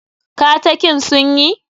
Katakin sun yi?